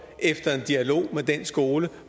efter en dialog med den skole